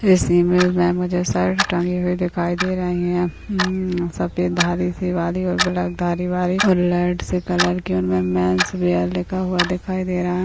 इस ईमेज में मुझे शर्ट टंगी हुई दिखाई दे रही है हम्म सफ़ेद धारी सी वाली और ब्लैक धारी वाली और लाइट से कलर की उनमे मेन्सवियर लिखा हुआ दिखाई दे रहा है।